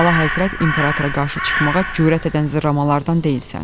Əlahəzrət İmperatora qarşı çıxmağa cürət edən zırramalardan deyilsən.